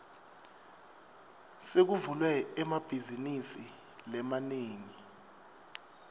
sekuvulwe emabhazinisi lamanengi